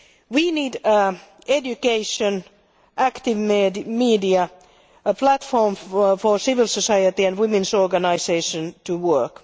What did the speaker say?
We need education, active media, a platform for civil society and women's organisations to work.